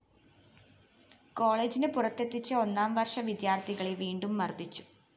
കോളേജിന് പുറത്തെത്തിച്ച ഒന്നാംവര്‍ഷ വിദ്യാര്‍ത്ഥികളെ വീണ്ടും മര്‍ദിച്ചു